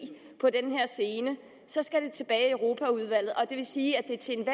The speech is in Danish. på den her scene skal det tilbage i europaudvalget og det vil sige at